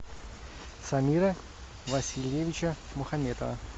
самира васильевича мухаметова